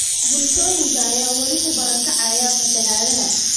Bulshooyinka ayaa weli ku barakacaya fatahaadaha.